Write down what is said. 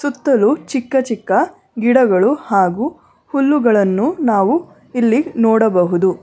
ಸುತ್ತಲು ಚಿಕ್ಕ ಚಿಕ್ಕ ಗಿಡಗಳು ಹಾಗೂ ಹುಲ್ಲುಗಳನ್ನು ನಾವು ಇಲ್ಲಿ ನೋಡಬಹುದು.